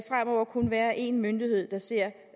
være en myndighed der ser